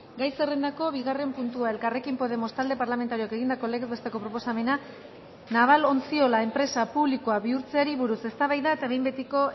gai zerrendako bigarren puntua elkarrekin podemos talde parlamentarioak egindako legez besteko proposamena naval ontziola enpresa publikoa bihurtzeari buruz eztabaida eta behin betiko